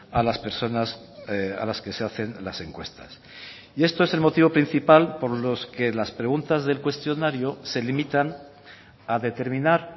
a las personas a las que se hacen las encuestas y esto es el motivo principal por los que las preguntas del cuestionario se limitan a determinar